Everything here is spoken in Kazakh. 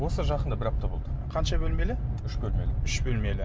осы жақында бір апта болды қанша бөлмелі үш бөлмелі үш бөлмелі